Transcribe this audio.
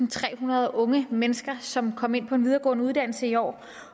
og trehundrede unge mennesker som kom ind på en videregående uddannelse i år